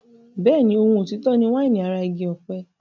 Bẹ́ẹ̀ni, ohun òtítọ́ ni wáìnì ara igi ọ̀pẹ.